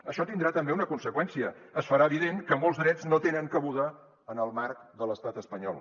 això tindrà també una conseqüència es farà evident que molts drets no tenen cabuda en el marc de l’estat espanyol